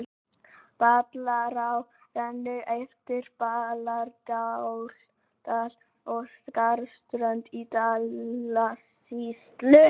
Ballará rennur eftir Ballarárdal á Skarðsströnd í Dalasýslu.